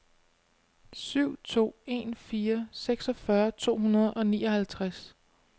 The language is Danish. syv to en fire seksogfyrre to hundrede og nioghalvtreds